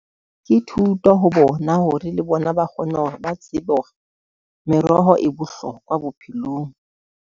Ke thuto ho bona hore le bona ba kgone hore ba tsebe hore meroho e bohlokwa bophelong.